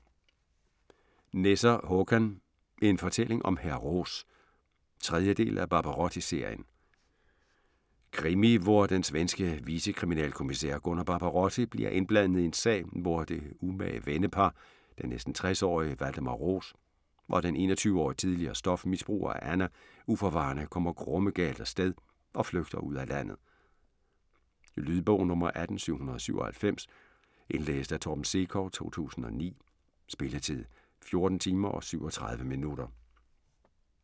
Nesser, Håkan: En fortælling om hr. Roos 3. del af Barbarotti-serien. Krimi, hvor den svenske vicekriminalkommissær Gunnar Barbarotti bliver indblandet i en sag, hvor det umage vennepar den næsten 60-årige Valdemar Roos og den 21-årige tidligere stofmisbruger Anna uforvarende kommer grumme galt af sted og flygter ud af landet. Lydbog 18797 Indlæst af Torben Sekov, 2009. Spilletid: 14 timer, 37 minutter.